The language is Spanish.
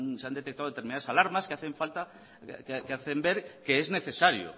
se han detectado determinadas alarmas que hacen ver que es necesario